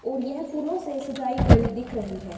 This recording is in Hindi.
और यह फूलों से सजाई गई दिख रही है।